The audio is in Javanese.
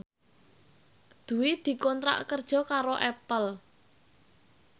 Dwi dikontrak kerja karo Apple